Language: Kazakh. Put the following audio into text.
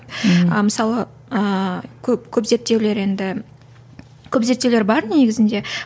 ы мысалы ыыы көп көп зерттеулер енді көп зертеулер бар негізінде